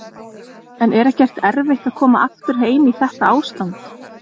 En er ekkert erfitt að koma aftur heim í þetta ástand?